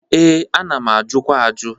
Ee, a na-ajụkwa ajụ.